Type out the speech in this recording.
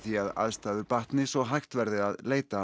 því að aðstæður batni svo hægt verði að leita